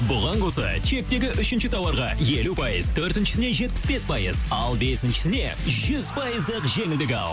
бұған қоса чектегі үшінші тауарға елу пайыз төртіншісіне жетпіс бес пайыз ал бесіншісіне жүз пайыздық жеңілдік ал